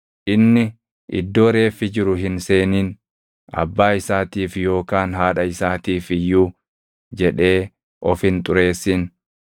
Inni iddoo reeffi jiru hin seenin. Abbaa isaatiif yookaan haadha isaatiif iyyuu jedhee of hin xureessin;